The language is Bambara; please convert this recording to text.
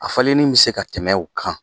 A falenin bɛ se ka tɛmɛ u kan.